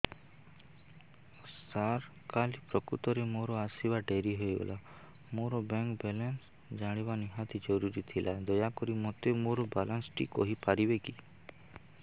ସାର କାଲି ପ୍ରକୃତରେ ମୋର ଆସିବା ଡେରି ହେଇଗଲା ମୋର ବ୍ୟାଙ୍କ ବାଲାନ୍ସ ଜାଣିବା ନିହାତି ଜରୁରୀ ଥିଲା ଦୟାକରି ମୋତେ ମୋର ବାଲାନ୍ସ ଟି କହିପାରିବେକି